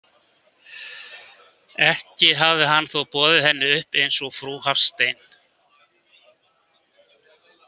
Ekki hafði hann þó boðið henni upp eins og frú Hafstein.